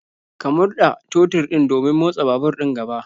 Ka murda totur din domin motsa babur din gaba